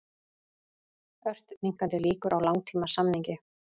Ört minnkandi líkur á langtímasamningi